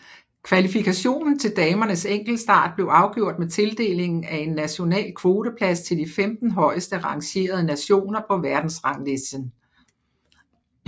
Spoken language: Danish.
Kvalifikationen til damernes enkeltstart blev afgjort med tildelingen af 1 national kvoteplads til de 15 højeste rangerede nationer på verdensranglisten